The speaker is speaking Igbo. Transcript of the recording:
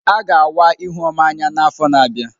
A ga awa Ihuoma anya n'afọ na-abịa.